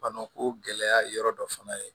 Bana ko gɛlɛya ye yɔrɔ dɔ fana ye